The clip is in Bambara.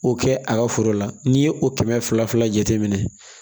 O kɛ a ka foro la n'i ye o kɛmɛ fila fila jate minɛ